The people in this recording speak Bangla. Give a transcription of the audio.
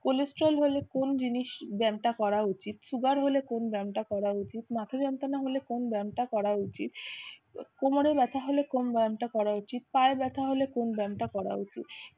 cholesterol হলে কোন জিনিস ব্যায়ামটা করা উচিত, sugar হলে কোন ব্যায়ামটা করা উচিত, মাথা যন্ত্রণা হলে কোন ব্যায়ামটা করা উচিত, কোমরে ব্যথা হলে কোন ব্যায়ামটা করা উচিত, পায়ে ব্যথা হলে কোন ব্যায়ামটা করা উচিত